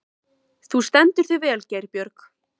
Þú stendur þig vel, Geirbjörg!